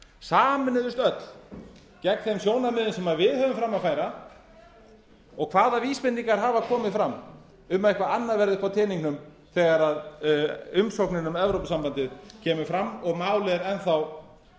sameinuðumst öll gegn þeim sjónarmiðum sem við höfum fram að færa og hvaða vísbendingar hafa komið fram um að eitthvað annað verði uppi á teningnum þegar umsóknir um evrópusambandið kemur fram og málið er enn